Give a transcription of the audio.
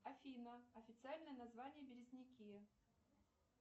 афина официальное название березники